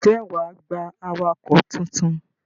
Ǹjẹ́ wà á gba awakọ̀ tuntun?